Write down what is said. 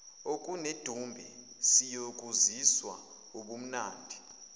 okunedumbe siyokuzwisa ubumnandi